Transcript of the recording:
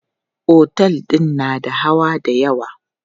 Otel din na da hawa dayawa.